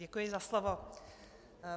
Děkuji za slovo.